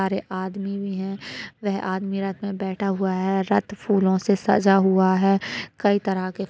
सारे आदमी भी हैं। वह आदमी रथ में बैठा हुआ है। रथ फूलों से सजा हुआ है। कइ तरह के --